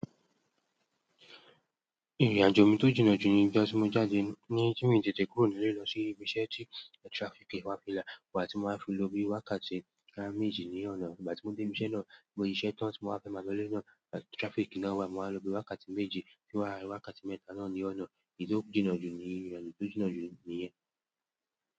Ìrìnàjò mi tó jìnnà jù ní ìgbà tí mo jáde ní ti mi tètè kúrò nílé lọ sí ibi iṣẹ́ tí traffic wá fìlà, ìgbà tí mo máa fi lọ bí wákàtí boya méjì ní ọ̀nà, ìgbà tí mo dé ibi iṣẹ́ náà, mo siṣẹ́ tán tí mo wá fẹ́ máa lọlé náà traffic náà wà mo wá lọ bí wákàtí mẹ́ji kí n wá wákàtí mẹ́ta náà ní ọ̀nà, èyí tó jìnnà jù ní ìrìnàjò, èyí tó jìnnà jù níyẹn.